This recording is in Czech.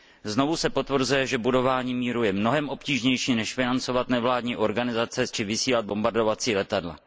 Znovu se potvrzuje, že budování míru je mnohem obtížnější než financovat nevládní organizace či vysílat bombardovací letadla.